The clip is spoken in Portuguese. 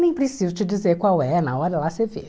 Nem preciso te dizer qual é, na hora lá você vê.